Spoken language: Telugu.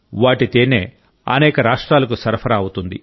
వాటి తేనె అనేక రాష్ట్రాలకు సరఫరా అవుతుంది